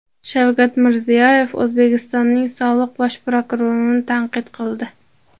Shavkat Mirziyoyev O‘zbekistonning sobiq bosh prokurorini tanqid qildi .